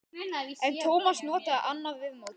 En Tómas notaði annað viðmót.